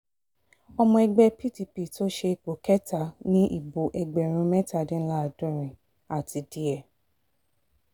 ọmọ ẹgbẹ́ pdp tó ṣe ipò kẹta ní ìbò ẹgbẹ̀rún mẹ́tàdínláàádọ́rin àti díẹ̀